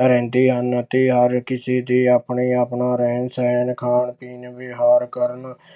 ਰਹਿੰਦੇ ਹਨ ਤੇ ਹਰ ਕਿਸੇ ਦੇ ਆਪਣੇ ਆਪਣਾ ਰਹਿਣ ਸਹਿਣ ਖਾਣ ਪੀਣ ਵਿਹਾਰ ਕਰਨ